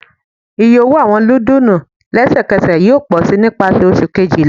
Iye owo awọn nudulu lẹsẹkẹsẹ yoo pọ si nipasẹ Oṣu kejila